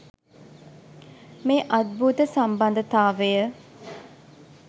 මේ අද්භූත සම්බන්ධතාවය